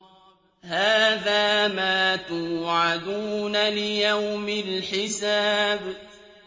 هَٰذَا مَا تُوعَدُونَ لِيَوْمِ الْحِسَابِ